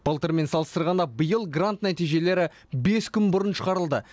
былтырмен салыстарғанда биыл грант нәтижелері бес күн бұрын шығарылды